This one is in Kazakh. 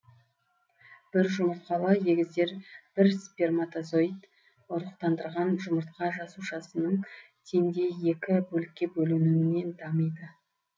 бір жұмыртқалы егіздер бір сперматозоид ұрықтандырған жұмыртқа жасушасының теңдей екі бөлікке бөлінуінен дамиды